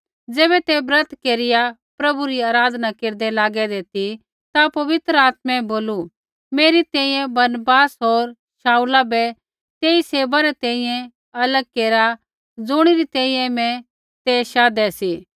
ज़ैबै ते ब्रत केरिआ प्रभु री आराधना केरदै लागैदै ती ता पवित्र आत्मै बोलू मेरी तैंईंयैं बरनबास होर शाऊला बै तेई सेवा री तैंईंयैं अलग केरा ज़ुणी री तैंईंयैं मैं ते शाधै सी